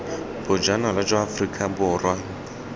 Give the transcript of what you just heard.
bojanala jwa aforika borwa deat